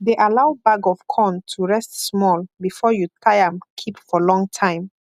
de allow bag of corn to rest small before you tie am keep for long time